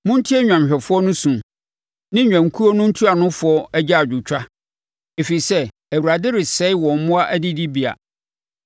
Montie nnwanhwɛfoɔ no su, ne nnwankuo no ntuanofoɔ agyaadwotwa, ɛfiri sɛ Awurade resɛe wɔn mmoa adidibea.